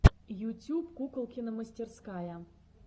ютюб куколкина мастерская